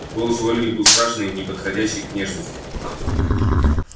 голос у ольги был страшный неподходящий к внешности